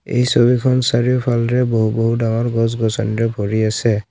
এই ছবিখন চাৰিওফালে বহু বহু ডাঙৰ গছ গছনিৰে ভৰি আছে।